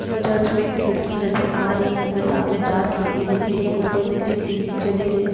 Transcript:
Church में खिड़की नजर आ रही है। हमें सामने चार खिड़की दिख रही हैं। एक ऊपर दिख रही है। तीन नीचे दिख रही।